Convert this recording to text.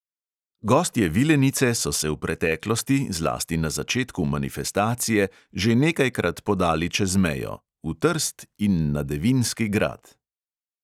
Gostje vilenice so se v preteklosti, zlasti na začetku manifestacije, že nekajkrat podali čez mejo – v trst in na devinski grad.